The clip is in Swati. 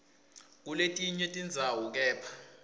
kuletinye tindzawo kepha